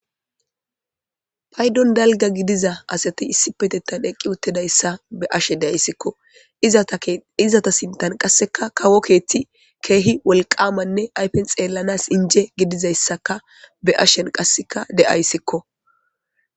paydon dalga gidiza asati issipetetan eqqi uttedayssa be ashe de ayssikko aizata sintan qasseka kawo keethti keehi wolqamanne aypen xeellanas inje gidizayssaka be'ashen qasseka de7ayssikko